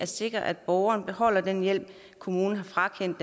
sikre at borgeren beholder den hjælp kommunen har frakendt